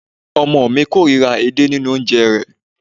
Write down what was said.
Ọmọ ọ̀ mi kóòríra edé nínu oúnjẹ rẹ̀